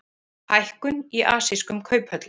Hækkun í asískum kauphöllum